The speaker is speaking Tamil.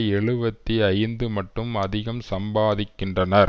எழுபத்தி ஐந்து மட்டும் அதிகம் சம்பாதிக்கின்றனர்